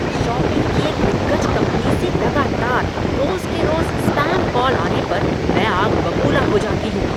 Shopping की एक दिग्गज कंपनी से लगातार रोज़ के रोज़ स्पैम कॉल आने पर मैं आग बबूला हो जाती हूँ।